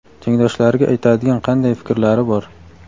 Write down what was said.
tengdoshlariga aytadigan qanday fikrlari bor.